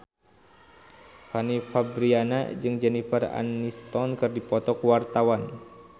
Fanny Fabriana jeung Jennifer Aniston keur dipoto ku wartawan